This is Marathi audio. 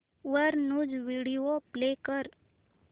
वर न्यूज व्हिडिओ प्ले कर